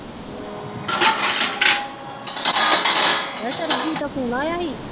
ਸਰਬਜੀਤ ਦਾ ਫੋਨ ਆਇਆ ਸੀ